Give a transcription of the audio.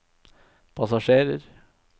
passasjerer